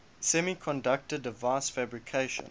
semiconductor device fabrication